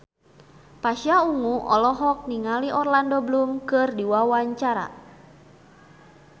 Pasha Ungu olohok ningali Orlando Bloom keur diwawancara